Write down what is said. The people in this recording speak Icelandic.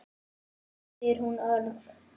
spyr hún örg.